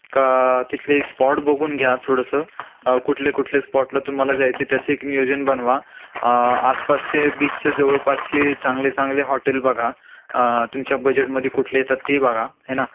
का तिथले स्पॉट बघून घ्या थोडस अ कुठले कुठले स्पॉटला तुम्हाला जायचंय त्याच एक नियोजन बनवा अ आसपासचे बीच् च्या जवळपासचे चांगले चांगले हॉटेल बघा अ तुमच्या बजेट मध्ये कुठले येतात ते बघा हे ना